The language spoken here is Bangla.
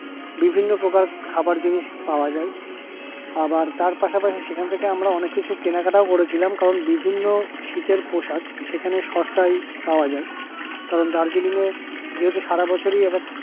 বিভিন্ন প্রকার খাবার জিনিস পাওয়া যায় আবার এটার পাশাপাশি সেখান থেকে অনেক কিছু কেনাকাটাও করেছিলাম কারণ বিভিন্ন শীতের পোশাক সেখানে সস্তায় পাওয়া যাই কারণ দার্জিলিং এ যেহেতু সারা বছরই একেবারে